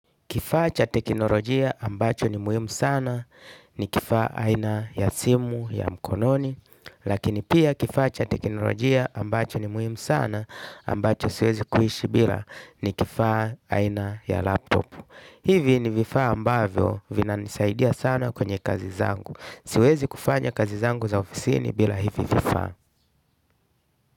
Kifaa cha teknolojia ambacho ni muhimu sana ni kifaa aina ya simu ya mkononi, lakini pia kifaa cha teknolojia ambacho ni muhimu sana ambacho siwezi kuishi bila ni kifaa aina ya laptop. Hivi ni vifaa ambavyo vinanisaidia sana kwenye kazi zangu. Siwezi kufanya kazi zangu za ofisi ni bila hivi vifaa.